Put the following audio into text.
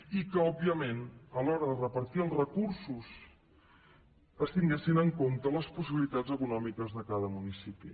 i que òbviament a l’hora de repartir els recursos es tinguessin en compte les possibilitats econòmiques de cada municipi